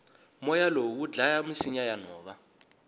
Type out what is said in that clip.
moya lowu wudlaya misinya yanhova